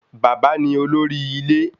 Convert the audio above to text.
Bàbá ni olórí ilé